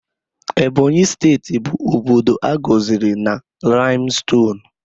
Ebonyi steeti bụ obodo a gọziri na laimstonuu